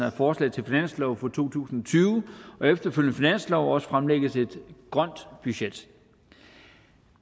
af forslag til finanslov for to tusind og tyve og efterfølgende finanslove også skal fremlægges et grønt budget